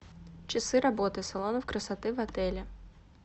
часы работы салонов красоты в отеле